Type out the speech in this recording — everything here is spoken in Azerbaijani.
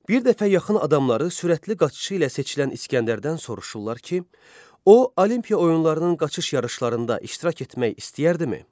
Bir dəfə yaxın adamları sürətli qaçışı ilə seçilən İsgəndərdən soruşurlar ki, o Olimpiya oyunlarının qaçış yarışlarında iştirak etmək istəyərdimi?